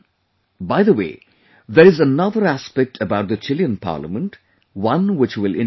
By the way, there is another aspect about the Chilean Parliament, one which will interest you